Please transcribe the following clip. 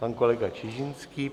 Pan kolega Čižinský.